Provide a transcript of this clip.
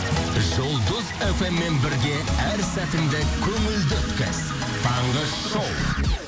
жұлдыз фм мен бірге әр сәтіңді көңілді өткіз таңғы шоу